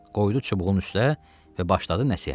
Qoydu çubuğun üstə və başladı nəsihətə.